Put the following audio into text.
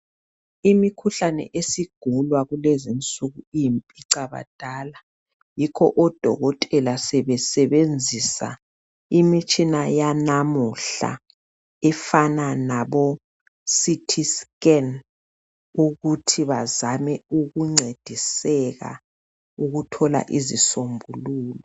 Imikhuhlane esigulwa kulezinsuku iyimpicabadala yikho odokotela sebesebenzisa imitshina yanamuhla efana labo CT scan ukuthi bazame ukuncediseka ukuthola izisombuluko